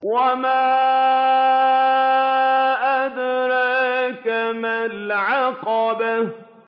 وَمَا أَدْرَاكَ مَا الْعَقَبَةُ